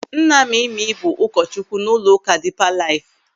Nna Mimi bụ ụkọchukwu n'ụlọụka Dipa Laif.